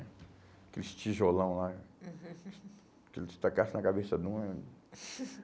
Aqueles tijolão lá, uhum que se tacassem na cabeça de um, é